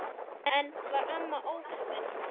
Enn var amma ókomin.